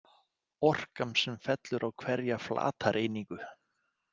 Orkan sem fellur á hverja flatareiningu.